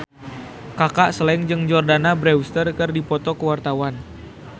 Kaka Slank jeung Jordana Brewster keur dipoto ku wartawan